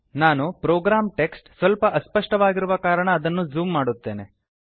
ನಾನು program text ಸ್ವಲ್ಪ ಅಸ್ಪಷ್ಟವಾಗಿರುವ ಕಾರಣ ಅದನ್ನು ಝೂಮ್ ಮಾಡುತ್ತೇನೆ